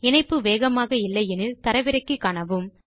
இணைப்பு வேகமாக இல்லை எனில் அதை தரவிறக்கி காணுங்கள்